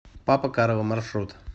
папа карло маршрут